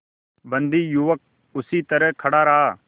बंदी युवक उसी तरह पड़ा रहा